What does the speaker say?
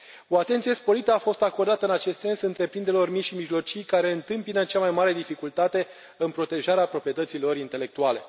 O atenție sporită a fost acordată în acest sens întreprinderilor mici și mijlocii, care întâmpină cea mai mare dificultate în protejarea proprietății lor intelectuale.